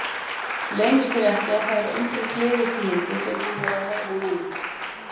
Leynir sér ekki að það eru engin gleðitíðindi sem hún er að heyra núna.